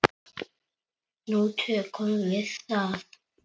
Nú tökum við það